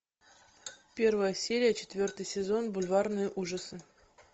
первая серия четвертый сезон бульварные ужасы